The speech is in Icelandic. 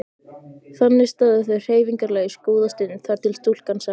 Þannig stóðu þau hreyfingarlaus góða stund þar til stúlkan sagði